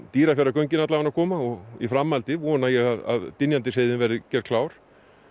Dýrafjarðargöngin koma og í framhaldi vona ég að Dynjandisheiðin verði gerð klár